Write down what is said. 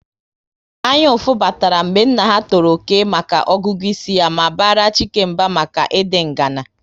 Anyaụfụ batara mgbe nna ha tọrọ Okey maka ọgụgụ isi ya ma bara Chike mba maka ịdị ngana